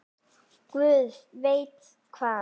Guð veit hvað!